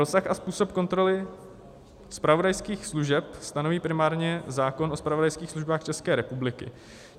Rozsah a způsob kontroly zpravodajských služeb stanoví primárně zákon o zpravodajských službách České republiky.